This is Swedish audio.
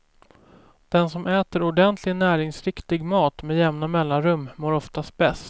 Den som äter ordentlig näringsriktig mat med jämna mellanrum mår oftast bäst.